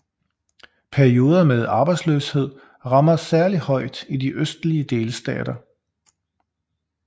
Perioder med arbejdsløshed rammer særlig hårdt i de østlige delstater